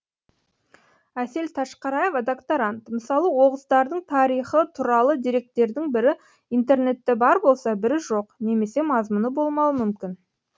әсел ташқараева докторант мысалы оғыздардың тарихы туралы деректердің бірі интернетте бар болса бірі жоқ немесе мазмұны болмауы мүмкін